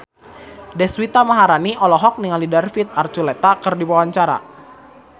Deswita Maharani olohok ningali David Archuletta keur diwawancara